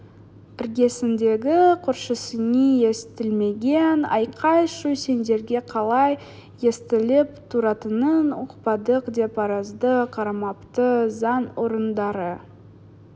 іргесіндегі көршісіне естілмеген айқай-шу сендерге қалай естіліп тұратынын ұқпадық деп арызды қарамапты заң орындары